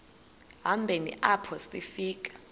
hambeni apho sifika